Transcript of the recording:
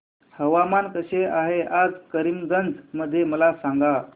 हवामान कसे आहे आज करीमगंज मध्ये मला सांगा